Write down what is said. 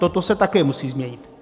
Toto se také musí změnit.